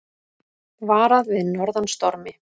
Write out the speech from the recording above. Varað við norðan stormi